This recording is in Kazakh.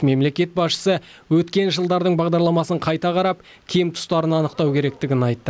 мемлекет басшысы өткен жылдардың бағдарламасын қайта қарап кем тұстарын анықтау керектігін айтты